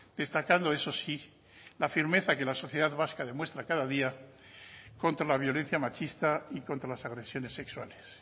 destacando eso sí la firmeza que la sociedad vasca demuestra cada día contra la violencia machista y contra las agresiones sexuales